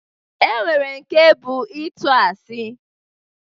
E nwere nke bụ ịtụ asị